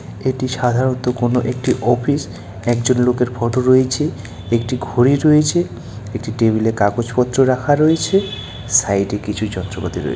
এটি সাধারণত কোন একটি অফিস একজন লোকের ফটো রয়েছে একটি ঘড়ি রয়েছে একটি টেবিলে কাগজপত্র রাখা রয়েছে সাইড এ কিছু যন্ত্রপাতি রয়ে--